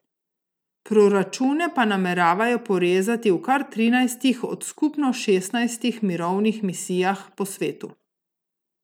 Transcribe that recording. Proračune pa nameravajo porezati v kar trinajstih od skupno šestnajstih mirovnih misijah po svetu.